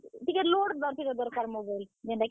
ଟିକେ load ଏଁ। ଟିକେ ଦର୍ କାର୍ mobile ଏଁ। ଯେନ୍ ଟାକି।